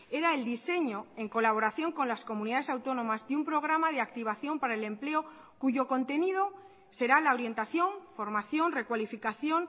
era el diseño en colaboración con las comunidades autónomas de un programa de activación para el empleo cuyo contenido será la orientación formación recualificación